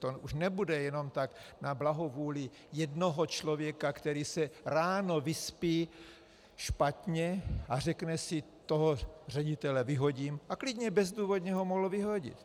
To už nebude jenom tak na blahovůli jednoho člověka, který se ráno vyspí špatně a řekne si "toho ředitele vyhodím", a klidně bezdůvodně ho mohl vyhodit.